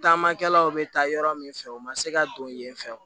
Taamakɛlaw bɛ taa yɔrɔ min fɛ u ma se ka don yen fɛ